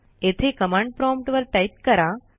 येथे command prompt वर type करा